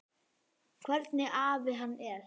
Hvernig afi hann var.